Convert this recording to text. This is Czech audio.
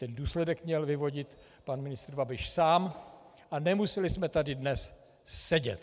Ten důsledek měl vyvodit pan ministr Babiš sám a nemuseli jsme tady dnes sedět.